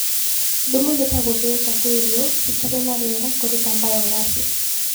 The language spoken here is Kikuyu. Thumu nĩta gũthĩĩka kwa irio (citarĩ na rĩera) kũruta mbayogasi.